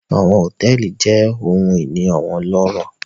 Àwọn hotẹẹli jẹ ohun ini awọn ọlọrọ